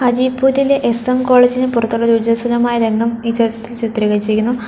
ജയ്പൂരിലെ S M കോളേജിന് പുറത്തുള്ള ഉജ്ജസ്വലമായ രംഗം ഈ ചിത്രത്തിൽ ചിത്രീകരിച്ചിരിക്കുന്നു.